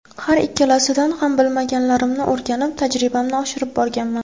Har ikkisidan ham bilmaganlarimni o‘rganib, tajribamni oshirib borganman.